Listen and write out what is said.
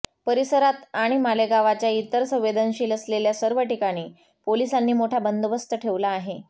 परिसारात आणि मालेगावच्या इतर संवेदनशील असलेल्या सर्व ठिकाणी पोलिसांनी मोठा बंदोबस्त ठेवला आहे